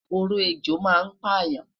Oró ejò ma n payan